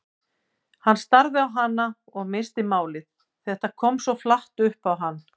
Hann starði á hana og missti málið, þetta kom svo flatt upp á hann.